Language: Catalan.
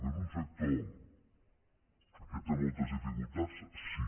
que és un sector que té moltes dificultats sí